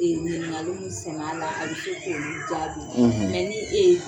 Ee ɲinikali minnu sɛm'ala a bɛ to k'olu jaabi mɛ ni e